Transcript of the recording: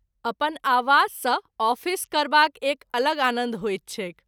अपन आवास सँ आफिस करबाक एक अलग आनन्द होइत छैक।